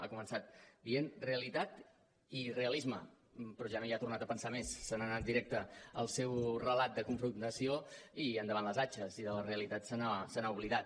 ha començat dient realitat i realisme però ja no hi ha tornat a pensar més se n’ha anat directa al seu relat de confrontació i endavant les atxes i de la realitat se n’ha oblidat